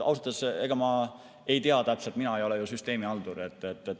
Ausalt öeldes, ega ma täpselt ei tea, mina ei ole süsteemihaldur.